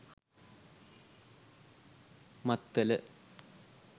maththala